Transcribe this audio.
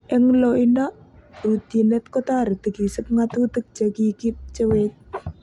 "En loido, rutyinet kotoreti kiisib ng'atutik che kikimchewech."